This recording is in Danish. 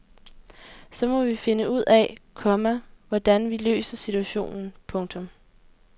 Så må vi finde ud af, komma hvordan vi løser situationen. punktum